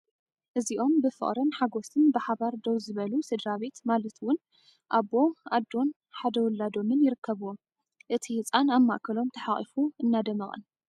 እዚኦም ብፍቕርን ሓጐስን ብሓባር ደው ዝበሉ ስድራቤት ማለት እውን ኣቦ፣ ኣዶን ሓደ ውላዶምን ይርከብዎም፡፡ እቲ ህጻን ኣብ ማእከሎም ተሓቋፉ እናደመቐን!